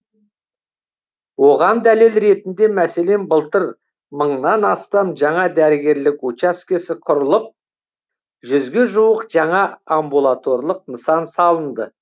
оған дәлел ретінде мәселен былтыр мыңнан астам жаңа дәрігерлік учаскесі құрылып жүзге жуық жаңа амбулаторлық нысан салынды